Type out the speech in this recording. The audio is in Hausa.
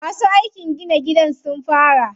Masu aikin gina gidan sun fara.